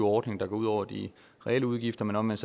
ordning der går ud over de reelle udgifter men omvendt